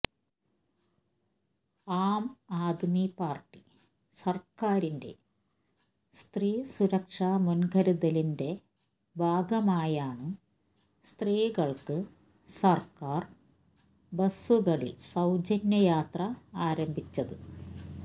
ആം ആദ്മി പാര്ട്ടി സര്ക്കാരിന്റെ സ്ത്രീ സുരക്ഷ മുന്കരുതലിന്റെ ഭാഗമായാണ് സ്ത്രീകൾക്ക് സർക്കാർ ബസുകളിൽ സൌജന്യ യാത്ര ആരംഭിച്ചത്